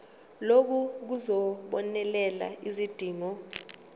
lokhu kuzobonelela izidingo